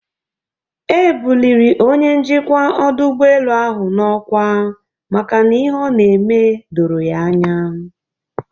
E bụlịrị Onye njikwa ọdụ ụgbọelu ahụ n'ọkwa maka n'ihe ọ n'eme doro ya anya.